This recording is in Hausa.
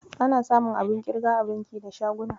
Ana samun abun ƙirga a banki da shaguna.